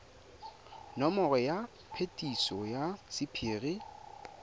nomoro ya phetiso ya sephiri